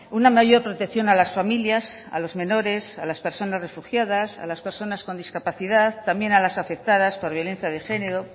una mayor protección a las familias a los menores a las personas refugiadas a las personas con discapacidad también a las afectadas por violencia de género